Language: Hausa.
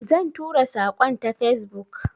Zan tura saƙon ta Facebook.